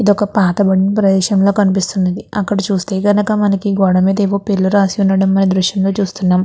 ఇది ఒక పాట పడిన ప్రదేశంలో కనిపిస్తున్నది అక్కడ చూస్తే కనుక మనకి గోడ మీద పేర్లు రాసి ఉండడం మన దృశ్యం లో చూస్తున్నాము.